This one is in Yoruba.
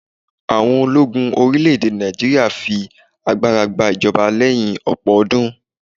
àwọn ológun orilẹ ède Naijiria fi agbara gba ijọba leyin ọpọ ọdún